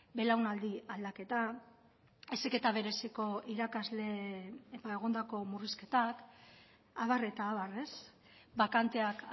belaunaldi aldaketa heziketa bereziko irakasle egondako murrizketak abar eta abar bakanteak